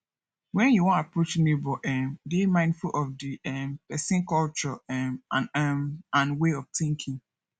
when you wan approach neigbour um dey mindful of di um person culture um and um and way of thinking